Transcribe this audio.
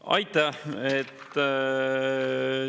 Aitäh!